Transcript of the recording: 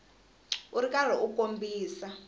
u ri karhi u kombisa